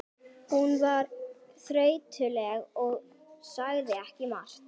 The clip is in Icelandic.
Hún var þreytuleg og sagði ekki margt.